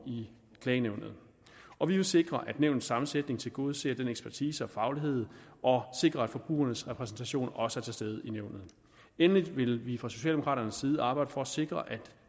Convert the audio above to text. i klagenævnet og vi vil sikre at nævnets sammensætning tilgodeser ekspertise og faglighed og sikre at forbrugernes repræsentation også er til stede i nævnet endelig vil vi fra socialdemokraternes side arbejde for at sikre at